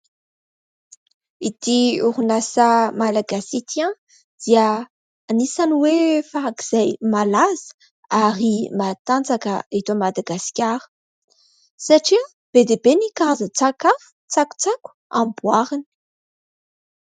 Ity orinasa malagasy ity dia anisan'ny hoe farak'izay malaza ary matanjaka eto Madagasikara satria be dia be ny karazan-tsakafo, tsakotsako amboariny.